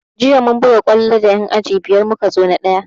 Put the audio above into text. Jiya mun buga kwallo da yan aji biyar muka zo na ɗaya